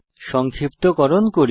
সংক্ষিপ্তকরণ করি